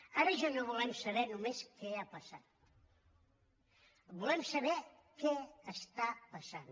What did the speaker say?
ara ja no volem saber només què ha passat volem saber què està passant